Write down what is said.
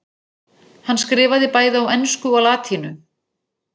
Hann skrifaði bæði á ensku og latínu.